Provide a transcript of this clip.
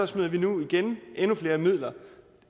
smider vi nu igen endnu flere midler